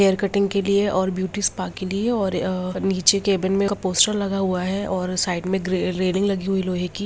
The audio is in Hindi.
हेयर कटिंग के लिए और ब्यूटी स्पा के लिए और अ नीचे केबिन में एक पोस्टर लगा हुआ है और साइड में ग्रे रेलिंग लगी हुई लोहें की।